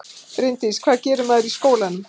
Bryndís: Hvað gerir maður í skólanum?